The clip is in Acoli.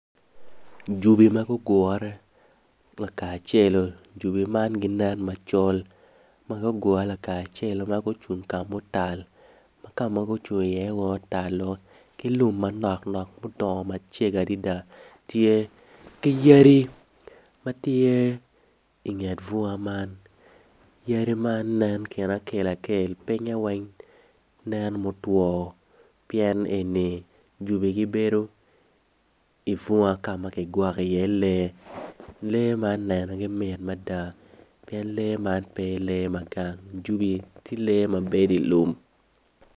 Jobi ma gugure lakacelo jobi man ginen macol ma gugure lakacelo ma gucung kamutal ma kamagucung i iye weng otal-o ki lum manok nok ma odongo macego adada tye ki yadi matye ingeet bunga man yadi man nen kine akel akel pinye weng nen mutwo pien eni jobi gibedo i bunga ka ma kigwokoi iye lee, lee man nenogi mit mada pien lee man pe lee magang jobi tye lee ma bedo i lum.